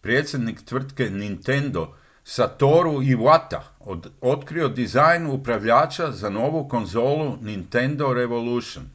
predsjednik tvrtke nintendo satoru iwata otkrio dizajn upravljača za novu konzolu nintendo revolution